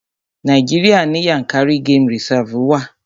Nàíjíríà ní Yànkárí game reserve wa.